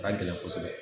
A ka gɛlɛn kosɛbɛ